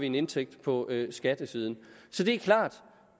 en indtægt på skattesiden så det er klart